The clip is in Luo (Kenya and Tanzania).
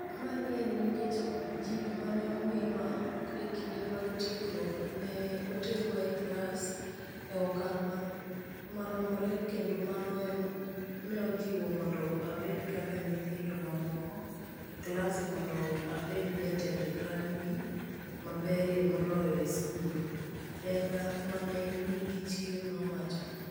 "Mani en nikech jip ma ne omiwa e kinde mag tiegruok ne oterwa e klas e okang ' maromre kendo mano ne ojiwa mondo abed kaka nyithindo mamoko e klas mondo abed jatend rugby maberie moloyo e skul", Denga ma ne nigi chir nowacho.